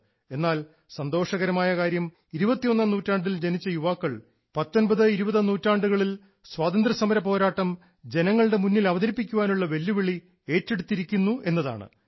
എന്നാൽ സന്തോഷകരമായ കാര്യം 21ാം നൂറ്റാണ്ടിൽ ജനിച്ച യുവാക്കൾ 19 20 നൂറ്റാണ്ടുകളിൽ സ്വാതന്ത്ര്യസമര പോരാട്ടം ജനങ്ങളുടെ മുൻപിൽ അവതരിപ്പിക്കാനുള്ള വെല്ലുവിളി ഏറ്റെടുത്തിരിക്കുകയാണ്